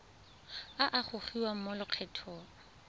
a a gogiwang mo lokgethong